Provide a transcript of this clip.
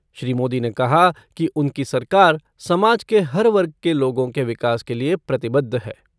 श्री मोदी ने कहा कि उनकी सरकार समाज के हर वर्ग के लोगों के विकास के लिए प्रतिबद्ध है।